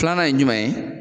Kilanan ye ɲumɛn ye?